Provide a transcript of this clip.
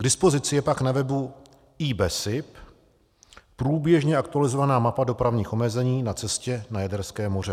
K dispozici je pak na webu i.besip průběžně aktualizovaná mapa dopravních omezení na cestě na Jaderské moře.